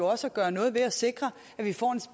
også at gøre noget ved at sikre at vi får en